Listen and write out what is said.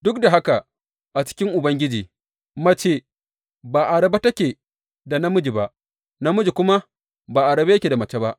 Duk da haka a cikin Ubangiji, mace ba a rabe take da namiji ba, namiji kuma ba a rabe yake da mace ba.